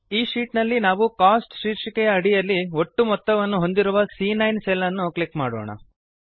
ಈ ಶೀಟ್ ನಲ್ಲಿ ನಾವು ಕೋಸ್ಟ್ಸ್ ಶೀರ್ಷಿಕೆಯ ಅಡಿಯಲ್ಲಿ ಒಟ್ಟು ಮೊತ್ತವನ್ನು ಹೊಂದಿರುವ ಸಿಎ9 ಸೆಲ್ ಅನ್ನು ಕ್ಲಿಕ್ ಮಾಡೋಣ